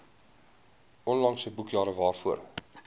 onlangse boekjare waarvoor